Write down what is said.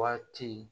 Waati